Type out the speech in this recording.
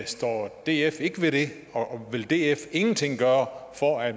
står df ikke ved det vil df ingenting gøre for at